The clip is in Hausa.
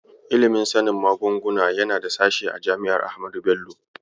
Ilimin sanin magunguna yana da sashe a jami'ar Ahmadu Bello.